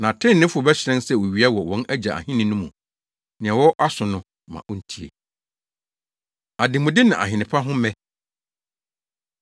Na atreneefo no bɛhyerɛn sɛ owia wɔ wɔn Agya Ahenni no mu. Nea ɔwɔ aso no, ma ontie!” Ademude Ne Ahene Pa Ho Mmɛ